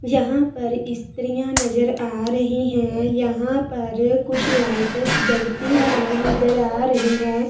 यहाँ पर इस स्त्रिया नजर आ रही हैं यहाँ पर अ कुछ लाइट्स जगती हुई नजर आ रही हैं।